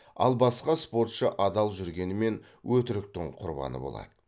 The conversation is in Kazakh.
ал басқа спортшы адал жүргенімен өтіріктің құрбаны болады